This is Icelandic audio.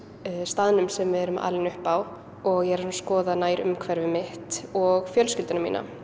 staðnum sem við erum alin upp á og ég er að skoða nærumhverfið mitt og fjölskylduna mína